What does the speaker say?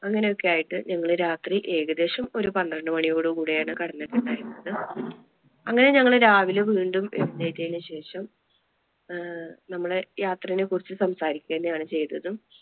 അങ്ങനെ ഒക്കെ ആയിട്ട് ഞങ്ങള് രാത്രി ഏകദേശം ഒരു പന്ത്രണ്ടുമണിയോടുകൂടെ ആണ് കിടന്നിട്ടുണ്ടായിരുന്നത്. അങ്ങനെ ഞങ്ങള് രാവിലെ വീണ്ടും എഴുന്നേറ്റത്തിന് ശേഷം അഹ് നമ്മടെ യാത്രയെ കുറിച്ച് സംസാരിക്ക തന്നെയാണ് ചെയ്‌തതും.